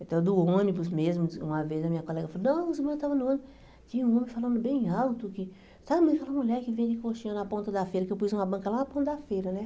Então, do ônibus mesmo, uma vez a minha colega falou, não semana estava no ônibus tinha um homem falando bem alto, que sabe que aquela mulher que vende coxinha na ponta da feira, que eu pus uma banca lá na ponta da feira, né?